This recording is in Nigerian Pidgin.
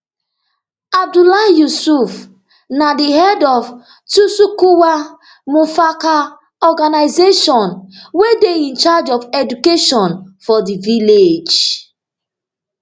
abdullahi yusuf na di head of tsakuwa mu farka organisation wey dey in charge of education for di village